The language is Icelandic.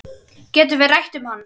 Getum við rætt um hann?